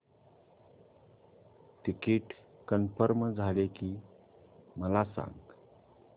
ticket confirm झाले की मला सांग